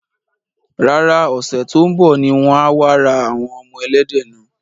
Rárá, Ọ̀sẹ̀ tó ń bọ̀ ni wọ́n á wá ra àwọn ọmọ ẹlẹ́dẹ̀ náà.